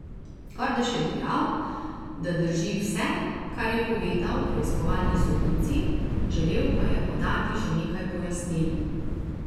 Kordež je dejal, da drži vse kar je povedal preiskovalni sodnici, želel pa je podati še nekaj pojasnil.